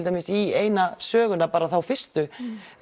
dæmis í eina söguna þá fyrstu